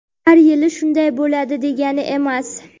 har yili shunday bo‘ladi degani emas.).